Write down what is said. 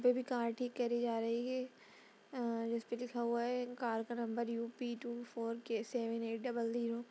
पर कार ठीक करी जा रही है अ जिसपे लिखा हुआ कार का number UP_ two four K seven eight double zero |